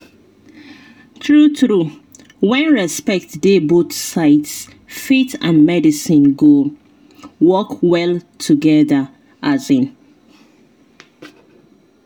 true true when respect dey both sides faith and medicine go work well together. um